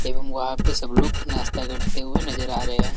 एवं वहां पे सब लोग नाश्ता करते हुए नजर आ रहे हैं।